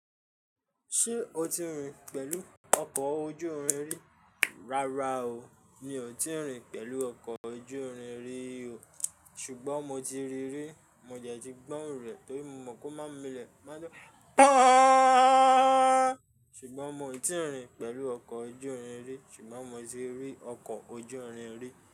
Ṣé o ti rìn pẹ̀lú ọkọ̀ ojú irin rí? Rárá o, mi ò tíì rìn pẹ̀lú ọkọ̀ ojú irin rí o. Ṣùgbọ́n mo ti rí rí, mo dẹ̀ ti gbóhùn rẹ̀ torí mo mọ̀n pe o má n milẹ̀. O ma n dun ahnnnnn: ṣùgbọ́n mo ti rìn pẹ̀lú ọkọ̀ ojú irin rí, ṣùgbọ́n mo ti rí ọkọ̀ ojú irin rí.